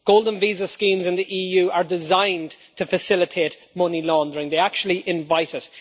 Golden visa schemes in the EU are designed to facilitate money laundering they actually invite it.